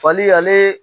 Fali ale